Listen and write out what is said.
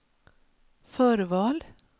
förval